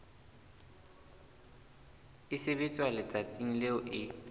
e sebetswa letsatsing leo e